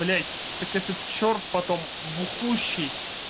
блять так этот черт потом бухущий